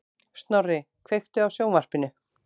Snorri, kveiktu á sjónvarpinu.